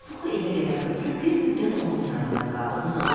O Puxu evə qədər ötürüb bir müddət onun yanında qaldı.